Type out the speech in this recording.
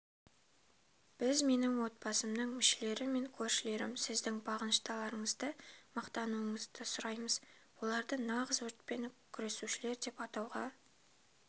біз менің отбасымның мүшелері мен көршілерім сіздің бағыныштыларыңызды мадақтауынызды сұраймыз оларды нағыз өртпен күресушілер деп атауға